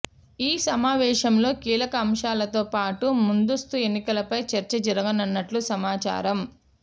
ఈ సమావేశంలో కీలక అంశాలతో పాటు ముందస్తు ఎన్నికలపై చర్చ జరగనున్నట్టు సమాచారం